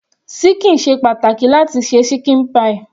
Ṣíkìn ṣe pàtàkì láti se ṣíkìn pie.